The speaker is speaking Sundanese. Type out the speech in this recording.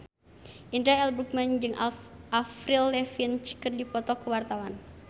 Indra L. Bruggman jeung Avril Lavigne keur dipoto ku wartawan